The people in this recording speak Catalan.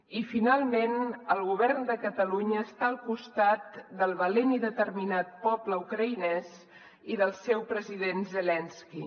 i finalment el govern de catalunya està al costat del valent i determinat poble ucraïnès i del seu president zelenski